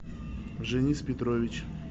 женис петрович